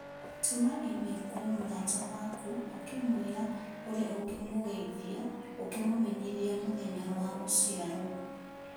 Tũma i-mīrū kũrĩ mũrata wakwa ũkĩmwĩra ũrĩa ũngĩmũgeithia ũkĩ mũmenyithia mĩthenya wagũciarwo